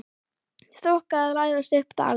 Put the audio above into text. Þoka að læðast upp dalinn.